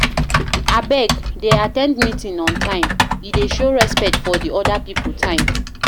Abeg, dey at ten d meeting on time, e dey show respect for di oda pipo time.